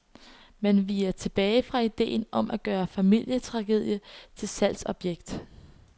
Man viger tilbage fra idéen om at gøre familietragedie til salgsobjekt.